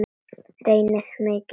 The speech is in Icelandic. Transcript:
Reyni mikið.